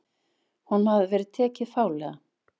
Honum hafi verið tekið fálega.